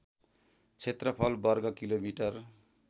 क्षेत्रफल वर्ग किलोमिटर